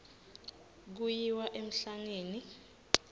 kuyiwa emhlangeni